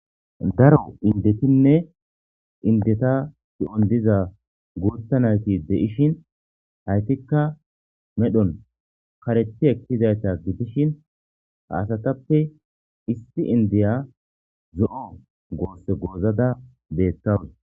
daro indetinne indetta ki'on diza guththa naytti de'ishshin haytikka medhdhon karethi ekkizayta gidishin ha asatappe issi indiya zo'o gosse gozadda bettawus